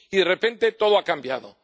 línea. Y de repente, todo ha cambiado.